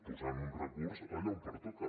posant un recurs allà on pertoca